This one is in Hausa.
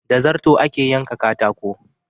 Da zarto ake yanka katako.